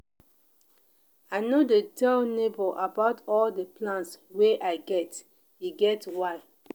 i no dey tell nebor about all di plans wey i get e get why.